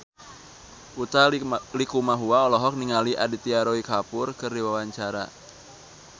Utha Likumahua olohok ningali Aditya Roy Kapoor keur diwawancara